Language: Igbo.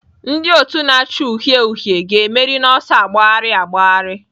Ndị otu na-acha uhie uhie ga-emeri n'ọsọ agbagharị agbagharị.